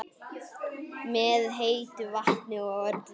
Með heitu vatni og öllu?